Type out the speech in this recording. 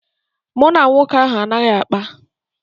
Mụ na nwoke ahụ anaghị akpa.